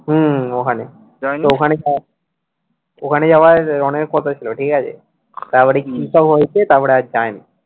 হুম ওখানে তো ওখানে ওখানে যাওয়ার রনির কথা হয়েছিল ঠিক আছে তারপরে কিসব হয়েছে তারপরে আর যায়নি